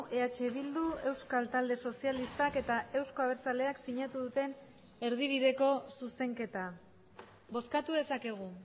eh bildu euskal talde sozialistak eta euzko abertzaleak sinatu duten erdibideko zuzenketa bozkatu dezakegu